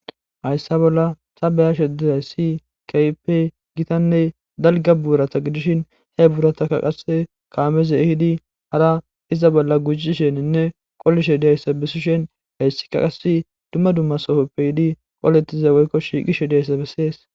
Hayssa bolla saeyashdizayssi kayp gitanne dalga buurata gidishin he buurata ka qase kaameze hidi hara iza bolla gujisheninne qolishe diyayssa bisi shen hayssi ka qasi dumma dumma soohoppe hidi qolettize weykkoshigishe diyayssabessees.